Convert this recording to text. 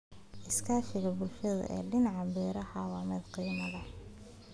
Iskaashiga bulshada ee dhinaca beeraha waa mid qiimo leh.